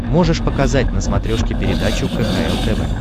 можешь показать на смотрешке передачу кхл тв